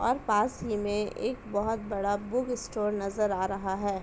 और पास ही में एक बहुत बड़ा बुक स्टोर नजर आ रहा है|